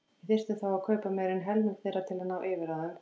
Við þyrftum þá að kaupa meira en helming þeirra til að ná yfirráðum.